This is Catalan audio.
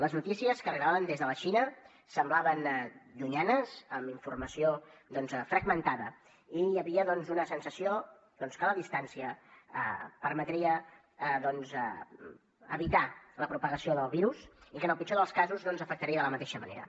les notícies que arribaven des de la xina semblaven llunyanes amb informació doncs fragmentada i hi havia una sensació que la distància permetria evitar la propagació del virus i que en el pitjor dels casos no ens afectaria de la mateixa manera